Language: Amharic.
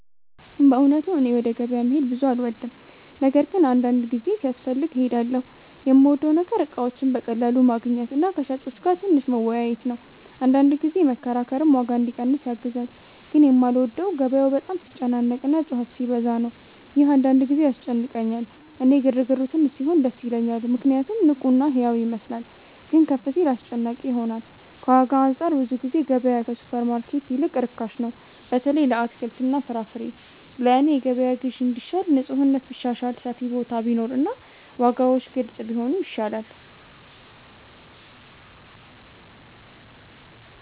በእውነቱ እኔ ወደ ገበያ መሄድ ብዙ አልወድም፤ ነገር ግን አንዳንድ ጊዜ ሲያስፈልግ እሄዳለሁ። የምወደው ነገር እቃዎችን በቀላሉ ማግኘት እና ከሻጮች ጋር ትንሽ መወያየት ነው፤ አንዳንድ ጊዜ መከራከርም ዋጋ እንዲቀንስ ያግዛል። ግን የማልወደው ገበያው በጣም ሲጨናነቅ እና ጩኸት ሲበዛ ነው፤ ይህ አንዳንድ ጊዜ ያስጨንቀኛል። እኔ ግርግሩ ትንሽ ሲሆን ደስ ይለኛል ምክንያቱም ንቁ እና ሕያው ይመስላል፤ ግን ከፍ ሲል አስጨናቂ ይሆናል። ከዋጋ አንፃር ብዙ ጊዜ ገበያ ከሱፐርማርኬት ይልቅ ርካሽ ነው፣ በተለይ ለአትክልትና ፍራፍሬ። ለእኔ የገበያ ግዢ እንዲሻል ንፁህነት ቢሻሻል፣ ሰፊ ቦታ ቢኖር እና ዋጋዎች ግልጽ ቢሆኑ ይሻላል።